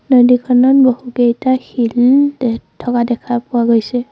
নদীখনত বহুকেইটা শিল দে থকা দেখা পোৱা গৈছে।